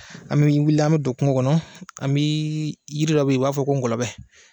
An be wuli an be don kungo kɔnɔ an bii yiri dɔ be ye u b'a fɔ ko ngɔlɔbɛ